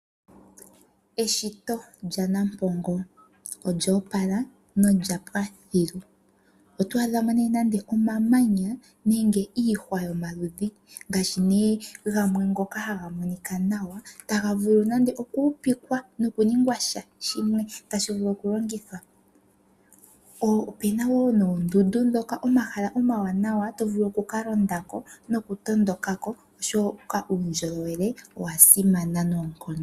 Eshito lyaNampongo olyoo pala nolya pwa thilu. Oto adha mo nee omamanya nenge iihwa yomaludhi ngaashi nee gamwe ngoka haga monika nawa, taga vulu nande okuupikwa nokuningwa sha shimwe tashi vulu okulongithwa. Ope na woo noondundu ndhoka ,omahala omawanawa to vulu oku ka londa ko nokutondoka ko, oshoka uundjolowele owa simana noonkondo.